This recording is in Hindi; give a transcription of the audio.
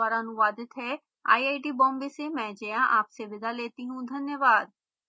यह स्क्रिप्ट विकास द्वारा अनुवादित है आईआईटी बॉम्बे से में जया आपसे विदा लेती हूँ धन्यवाद